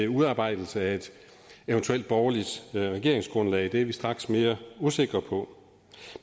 udarbejdelsen af et eventuelt borgerligt regeringsgrundlag det er vi straks mere usikre på